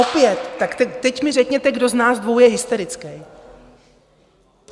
Opět, tak teď mi řekněte, kdo z nás dvou je hysterický.